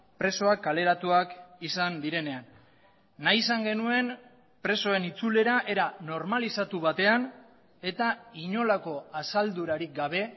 presoak kaleratuak izan direnean nahi izan genuen presoen itzulera era normalizatu batean eta inolako asaldurarik gabe